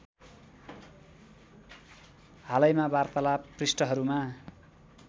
हालैमा वार्तालाप पृष्ठहरूमा